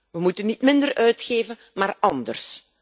We moeten niet minder uitgeven, maar anders.